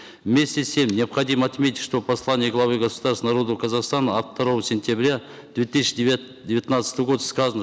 вместе с тем необходимо отметить что в послании главы государства народу казахстана от второго сентября две тысячи девятнадцатого года сказано